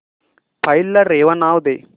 file ला रेवा नाव दे